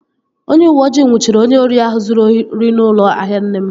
Onye uweojii nnwuchiri onye ori ahụ zụrụ ori n'ụlọ ahịa nne m